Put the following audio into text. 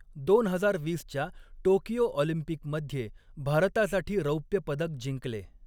दोन हजार वीसच्या टोकियो ऑलिम्पिकमध्ये भारतासाठी रौप्य पदक जिंकले.